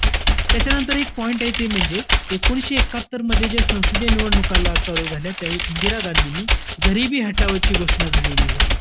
त्यांच्यानंतर एक point आहे. ते म्हणजे एकोणीसशे एक्कात्तरमध्ये, जे संसदीय निवडणूक ला~ चालू झाल्यात त्यावेळी इंदिरा गांधींनी गरीबी हटाओ ची घोषणा झालेली होती.